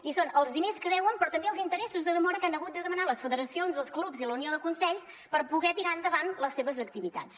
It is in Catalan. i són els diners que deuen però també els interessos de demora que han hagut de demanar les federacions els clubs i la unió de consells per poder tirar endavant les seves activitats